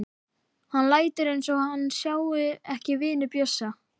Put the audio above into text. Hann lætur eins og hann sjái ekki vini Bjössa.